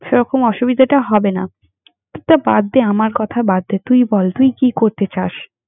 সেরকম অসুবিধাটা হবে না। ~থা বাদ দে আমার কথা বাদ দে, তুই বল তুই কি করতে চাস?